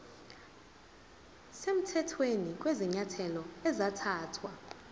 semthethweni kwezinyathelo ezathathwa